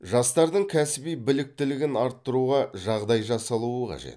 жастардың кәсіби біліктілігін арттыруға жағдай жасалуы қажет